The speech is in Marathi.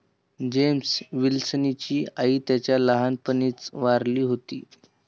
जेम्स विलसनची आई त्याच्या लहानपणीच वारली होती.